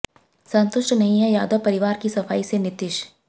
संतुष्ट नहीं है यादव परिवार की सफाई से नीतीश